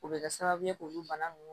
O bɛ kɛ sababu ye k'olu bana ninnu